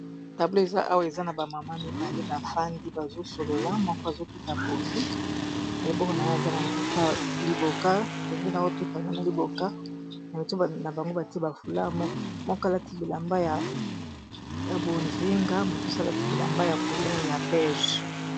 tablo eza owa eza na bamama mibale bafandi bazosolola moko azotuta pundu na liboko na yo aza na nzeta liboka pundu na ototango na liboka na mituba na bango batie bafular mokalati bilamba ya bozinga mosusu alaki bilamba ya colere ya bege